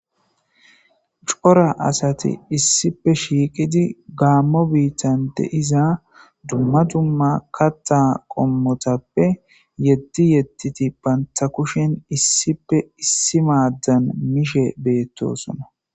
Cora asathi issippe shiiqidi gaamo biiththan de7iza dumma dumma kaththa qommothappe yeddi yeddidi banththa kushen issippe issi maaddan mishe beeththoosona.